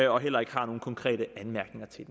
og heller ikke har nogen konkrete anmærkninger til